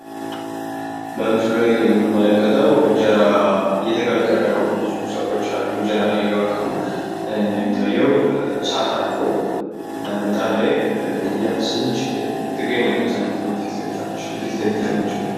በምስሉ ላይ የምንመለከተው እንጀራ እየተጋገረ ነው። ብዙ ሰዎች አሉ እንጀራ እየጋገሩ። እንደሚታዬው እሳት አለው ምጣድ ላይ እያፈሰሰች ትገኛለች አንዲት እናት ፊት ለፊት ያለችው።